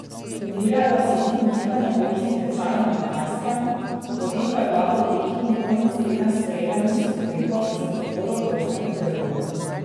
Umirjajo se tudi nihanja borznih tečajev na Kitajskem, potem ko je vlada v Pekingu konec tedna sprejela niz ukrepov za podporo borznemu trgu.